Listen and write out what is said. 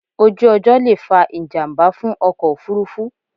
Ojú ọjọ́ lè fa ìjàmbá fún ọkọ̀ òfúrufú